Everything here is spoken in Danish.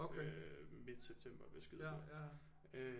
Øh midt september vil jeg skyde på